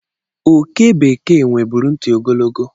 Oke bekee nweburu ntị ogologo.